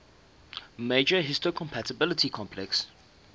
major histocompatibility complex